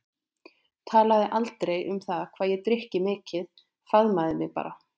Talaði aldrei um það hvað ég drykki mikið, faðmaði mig bara.